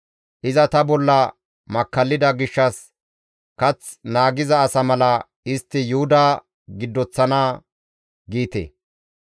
Iza ta bolla makkallida gishshas kath naagiza asa mala istti Yuhuda giddoththana› giite.